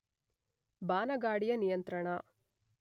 ಬಾನಗಾಡಿಯ ನಿಯಂತ್ರಣ